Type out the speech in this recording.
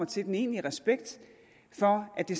til den egentlige respekt for at det